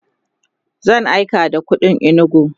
zan aika da kuɗi inugu